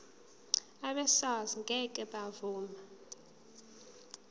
abesars ngeke bavuma